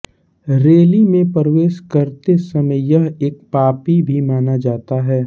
rally में प्रवेश करते समय यह एक पापी भी माना जाता है